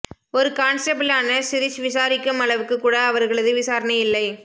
ஒரு கான்ஸ்டபிளான சிரிஷ் விசாரிக்கும் அளவுக்கு கூட அவர்களது விசாரணை இல்லை